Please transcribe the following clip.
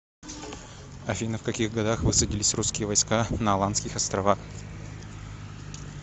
афина в каких годах высадились русские войска на аландских островах